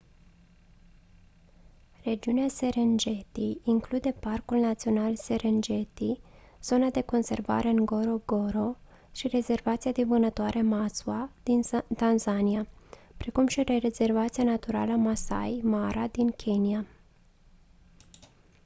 regiunea serengeti include parcul național serengeti zona de conservare ngorongoro și rezervația de vânătoare maswa din tanzania precum și rezervația națională maasai mara din kenya